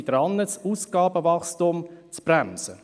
Wir sind dabei, das Ausgabenwachstum zu bremsen.